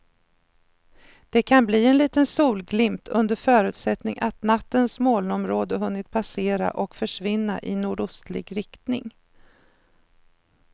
Det kan bli en liten solglimt under förutsättning att nattens molnområde hunnit passera och försvinna i nordostlig riktning.